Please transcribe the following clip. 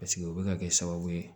o bɛ ka kɛ sababu ye